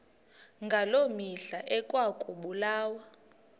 ngaloo mihla ekwakubulawa